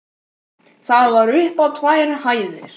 Það var upp á tvær hæðir.